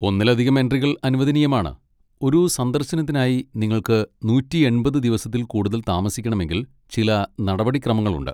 ഒന്നിലധികം എൻട്രികൾ അനുവദനീയമാണ്, ഒരു സന്ദർശനത്തിനായി നിങ്ങൾക്ക് നൂറ്റി എൺപത് ദിവസത്തിൽ കൂടുതൽ താമസിക്കണമെങ്കിൽ ചില നടപടിക്രമങ്ങളുണ്ട്.